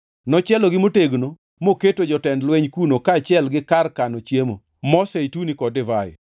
Nochielogi motegno moketo jotend jolweny kuno kaachiel gi kar kano chiemo, mo zeituni kod divai.